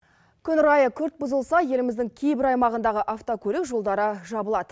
күн райы күрт бұзылса еліміздің кейбір аймағындағы автокөлік жолдары жабылады